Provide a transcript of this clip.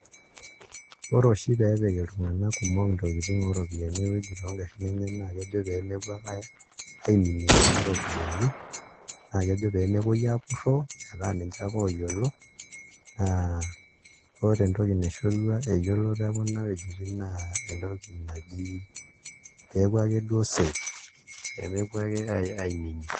Ore oshi pee epik iltung'anak kumok ntokitin oo ropiyiani ewueji too ngarrin enye naa kejo pee mepuo ake aiminie kuna ropiyiani naa kejo pee mepuoi aapurroo metaa ninche ake ooyiolo aa ore entoki naishorua eyiloto ekuna ewuejitin naa entoki naji peeku akeduo safe pee mepuo ake aiminie.